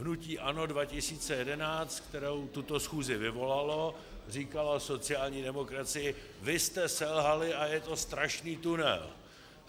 Hnutí ANO 2011, které tuto schůzi vyvolalo, říkalo sociální demokracii: vy jste selhali a je to strašný tunel.